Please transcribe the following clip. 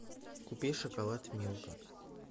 купи шоколад милка